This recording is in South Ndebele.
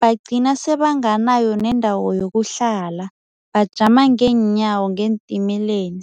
bagcina sebanganayo nendawo yokuhlala, bajama ngeenyawo ngeentimileni.